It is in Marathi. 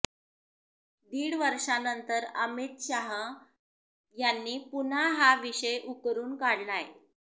दीड वर्षानंतर अमित शाह यांनी पुन्हा हा विषय उकरून काढलाय